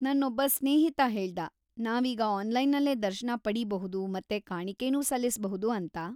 ನನ್ನೊಬ್ಬ ಸ್ನೇಹಿತ ಹೇಳ್ದ, ನಾವೀಗ ಆನ್ಲೈನಲ್ಲೇ ದರ್ಶನ ಪಡೀಬಹುದು ಮತ್ತೆ ಕಾಣಿಕೆನೂ ಸಲ್ಲಿಸ್ಬಹುದು ಅಂತ.